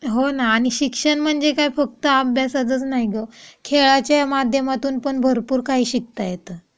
हो ना आणि शिक्षण म्हणजे काय फक्त अभ्यासात नाही ग खेळाच्या माध्यमातून पण भरपूर काही शिकता येत.